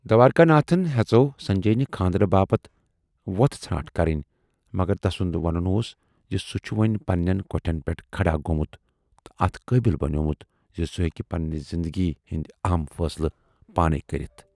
دوارِکا ناتھن ہٮ۪ژٮ۪و سنجے نہِ خاندرٕ باپَتھ وۅتھٕ ژھانٹ کَرٕنۍ، مگر تسُند وَنُن اوس زِ سُہ چھُ وۅنۍ پَنہٕ نٮ۪ن کۅٹھٮ۪ن پٮ۪ٹھ کھڑا گومُت تہٕ اَتھ قٲبِل بنیومُت زِ سُہ ہیکہِ پننہِ زِندگی ہٕندۍ اہم فٲصلہٕ پانے کٔرِتھ۔